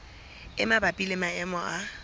e mabapi le maemo a